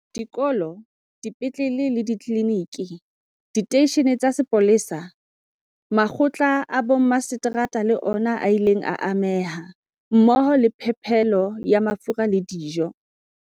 Dikolo, dipetlele le ditliliniki, diteishene tsa sepolesa, makgotla a bommaseterata le ona a ile a ameha, mmoho le phepelo ya mafura le dijo.